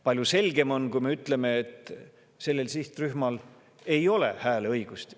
Palju selgem on, kui me ütleme, et sellel sihtrühmal ei ole hääleõigust.